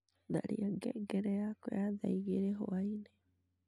tharia ngengere yakwa ya thaa igiri hwaaini